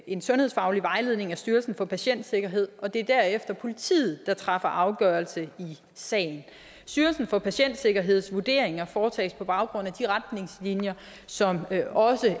en sundhedsfaglig vejledning af styrelsen for patientsikkerhed og det er derefter politiet der træffer afgørelse i sagen styrelsen for patientsikkerheds vurderinger foretages på baggrund af de retningslinjer som også